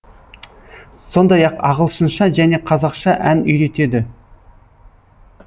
сондай ақ ағылшынша және қазақша ән үйретеді